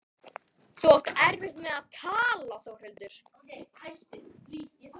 Þú átt erfitt með að tala Þórhildur.